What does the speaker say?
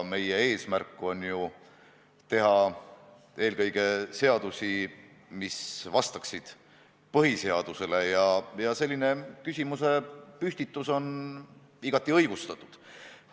Meie eesmärk on ju teha eelkõige seadusi, mis vastaksid põhiseadusele, ja selline küsimusepüstitus on igati õigustatud.